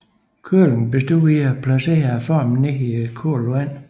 Køling bestod i at placere formen ned i koldt vand